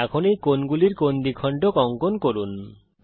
এখন এই কোণগুলির কোণ দ্বিখণ্ডক অঙ্কন করুন